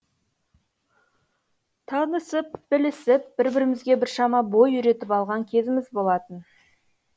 танысып білісіп бір бірімізге біршама бой үйретіп алған кезіміз болатын